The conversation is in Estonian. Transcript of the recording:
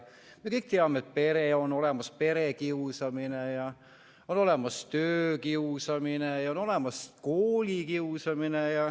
Me kõik teame, et on olemas perekiusamine ja on olemas töökiusamine ja on olemas koolikiusamine.